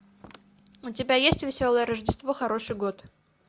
у тебя есть веселое рождество хороший год